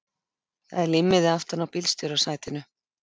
Það er límmiði aftan á bílstjórasætinu.